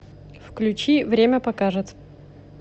включи время покажет